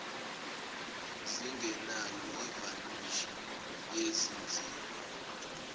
zingenayo ivanishi yezinzipho